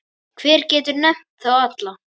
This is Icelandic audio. Hver getur nefnt þá alla?